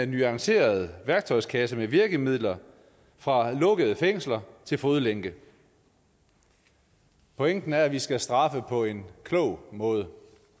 nuanceret værktøjskasse med virkemidler fra lukkede fængsler til fodlænke pointen er at vi skal straffe på en klog måde